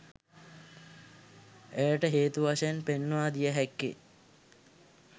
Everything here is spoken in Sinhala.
එයට හේතු වශයෙන් පෙන්වා දිය හැක්කේ